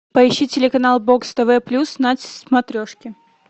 поищи телеканал бокс тв плюс на смотрешке